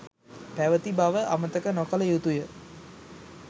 පැවති බව අමතක නොකළ යුතුව ඇත